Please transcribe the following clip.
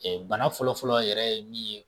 bana fɔlɔfɔlɔ yɛrɛ ye min ye